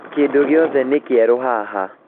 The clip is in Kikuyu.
Kĩndũ gĩothe nĩ kĩerũ haha